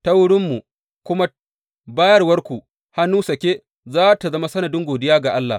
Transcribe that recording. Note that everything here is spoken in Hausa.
Ta wurinmu kuma bayarwarku hannu sake za tă zama sanadin godiya ga Allah.